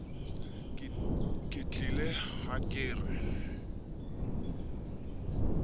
ke tiile ha ke re